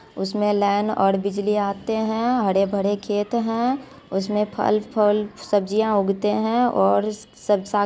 उसमे लाइन और बिजलियां आते है हरे-भरे खेत है उसमे फल फल सब्जियां उगते है और सब सात --